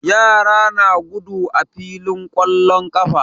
Yara na gudu a filin ƙwallon ƙafa.